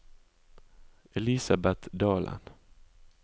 Elisabet Dalen